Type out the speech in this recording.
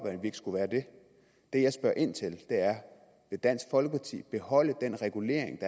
af at vi ikke skulle være det det jeg spørger ind til er vil dansk folkeparti beholde den regulering